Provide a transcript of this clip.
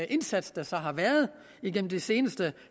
indsats der så har været igennem det seneste